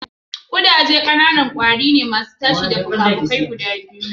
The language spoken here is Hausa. Kudaje ƙanana ne, ƙwari masu tashi da fikafikai guda biyu.